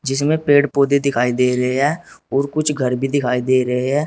जिसमें पेड़ पौधे दिखाई दे रहे हैं और कुछ घर भी दिखाई दे रहे हैं।